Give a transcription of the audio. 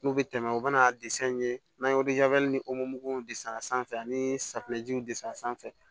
N'u bɛ tɛmɛ u bɛna n'an ye ni w de san sanfɛ ani safunɛjiw desan sanfɛ